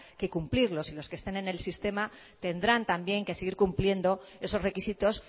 que cumplirlos y los que estén en el sistema tendrán también que seguir cumpliendo esos requisitos